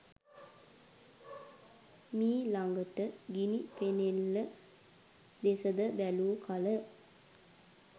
මීලඟට ගිණි පෙනෙල්ල දෙස ද බැලූ කල